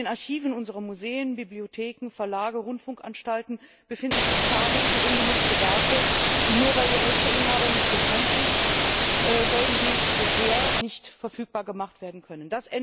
In den Archiven unserer Museen, Bibliotheken, Verlage, Rundfunkanstalten befinden sich zahllose ungenutzte Werke, und nur weil der Rechteinhaber nicht bekannt ist, sollen sie bisher nicht verfügbar gemacht werden können.